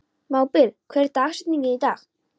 Mábil, hver er dagsetningin í dag?